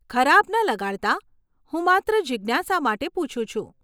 ખરાબ ન લગાડતા, હું માત્ર જીજ્ઞાસા માટે પૂછું છું.